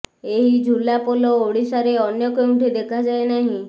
ଏଭଳି ଝୁଲା ପୋଲ ଓଡ଼ିଶାରେ ଅନ୍ୟ କେଉଁଠି ଦେଖାଯାଏ ନାହିଁ